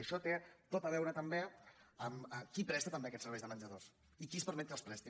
i això té tot a veure també amb qui presta també aquests serveis de menjadors i qui es permet que els presti